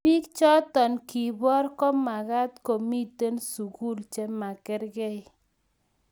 biik choto kiboor komagaat komiten sugul chemagergei